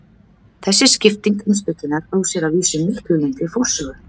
Þessi skipting heimspekinnar á sér að vísu miklu lengri forsögu.